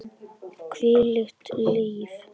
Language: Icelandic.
Hvílíkt líf!